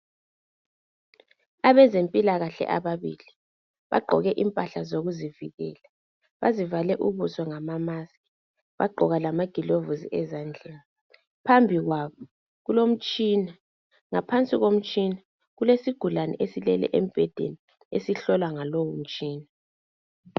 Abezimpilakahle ababili bagqoke impahla zokuvikela bazivale ubuso ngama maski bagqoka lama gilovisi ezandleni phambi kwabo kulomtshina . Ngaphansi komtshina kulesigulane esilele embhedeni esihlolwa ngalo mtshina.